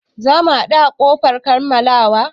Za mu haɗu a ƙofar kammalawa.